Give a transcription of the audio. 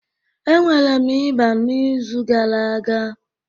Enwere m ịba n'izu gara aga